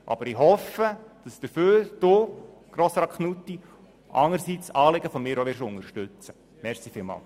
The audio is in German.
Aber ich hoffe, dass Sie, Grossrat Knutti, auch Anliegen von mir unterstützen werden!